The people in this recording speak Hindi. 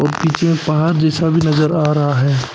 और पीछे एक पहाड़ जैसा भी नजर आ रहा है।